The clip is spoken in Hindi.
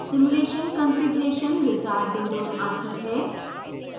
simulation configuration wizard window आती है